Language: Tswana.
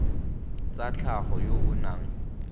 tsa tlhago yo o nang